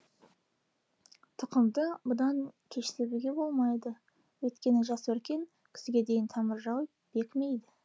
тұқымды бұдан кеш себуге болмайды өйткені жас өркен күзге дейін тамыр жайып бекімейді